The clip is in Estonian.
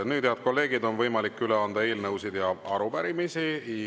Nüüd, head kolleegid, on võimalik üle anda eelnõusid ja arupärimisi.